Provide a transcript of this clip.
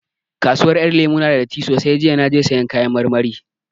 Kasuwar Ƴan Lemu ya na da datti sosai, jiya na je sayan kayan marmari